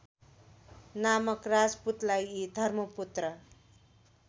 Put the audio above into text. नामक राजपुतलाई धर्मपुत्र